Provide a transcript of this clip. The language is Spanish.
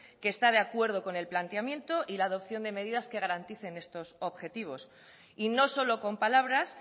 que está de acuerdo con el planteamiento y la adopción de medidas que garanticen estos objetivos y no solo con palabras